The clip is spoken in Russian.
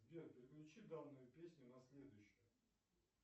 сбер переключи данную песню на следующую